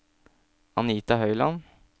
Anita Høyland